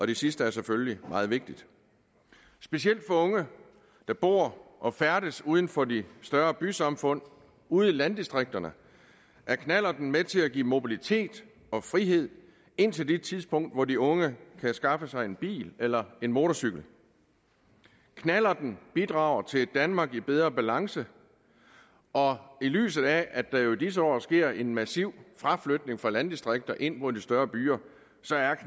det sidste er selvfølgelig meget vigtigt specielt for unge der bor og færdes uden for de større bysamfund ude i landdistrikterne er knallerten med til at give mobilitet og frihed indtil det tidspunkt hvor de unge kan skaffe sig en bil eller motorcykel knallerten bidrager til et danmark i bedre balance og i lyset af at der jo i disse år sker en massiv fraflytning fra landdistrikter ind mod de større byer